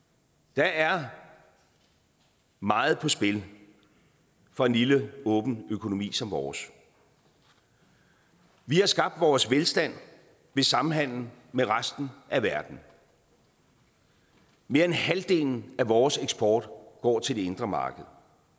der er meget på spil for en lille åben økonomi som vores vi har skabt vores velstand ved samhandel med resten af verden og mere end halvdelen af vores eksport går til det indre marked